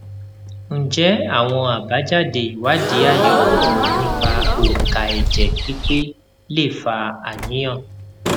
ǹjẹ àwọn àbájáde ìwádìí ayewo nípa onka ẹjẹ pipe lè fa àníyàn